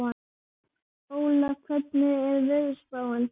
Óla, hvernig er veðurspáin?